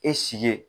E sigi ye